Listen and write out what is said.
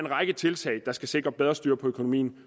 række af tiltag der skal sikre bedre styr på økonomien